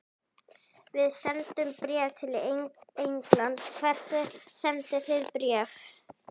Við sendum bréf til Englands. Hvert sendið þið bréf?